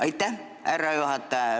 Aitäh, härra juhataja!